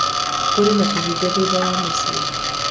kũrĩ na kĩhingo thutha wa mũcii